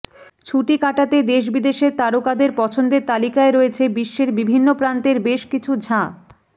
ছুটি কাটাতে দেশ বিদেশের তারকাদের পছন্দের তালিকায় রয়েছে বিশ্বের বিভিন্ন প্রান্তের বেশ কিছু ঝাঁ